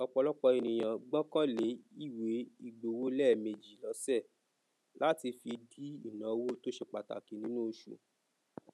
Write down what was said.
ọpọlọpọ ènìyàn gbọkan le iwe igbowo lèèmejì lose lati fi di ìnáwó tose pàtàkì nínú osù